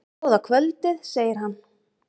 Góða kvöldið, segir hann.